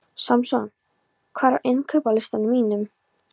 Samson, hvað er á innkaupalistanum mínum?